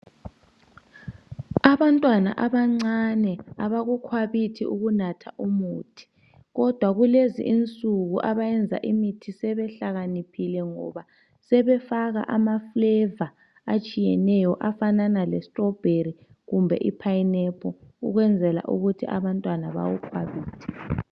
abantwana abancane abakukhwabithi ukunatha umuthi kodwa kulezinsuku abayenza imithi sebehlakaniphile ngoba sebefaka ama flavour atshiyeneyo afana le strawberry kumbe i pineapple ukwenzela ukuthi abantwana bakukhwabithe